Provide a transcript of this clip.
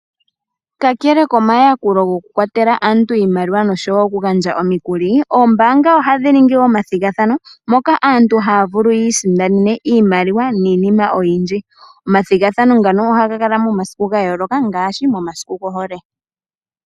Ka kele komayakulo goku kwatela aantu iimaliwa noshowo oku gandja omukuli, ombaanga ohadhi ningi omathigathano moka aantu haya vulu yi isindanene iimaliwa niinima oyindji. Omathigathano ngaka ohaga kala momasiku ga yooloka ngaashi momasiku gohole.